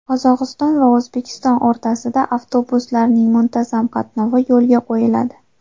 Qozog‘iston va O‘zbekiston o‘rtasida avtobuslarning muntazam qatnovi yo‘lga qo‘yiladi.